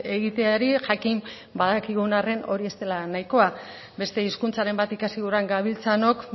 egiteari jakin badakigun arren hori ez dela nahikoa beste hizkuntzaren bat ikasi guran gabiltzanok